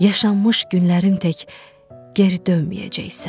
Yaşanmış günlərim tək geri dönməyəcəksən.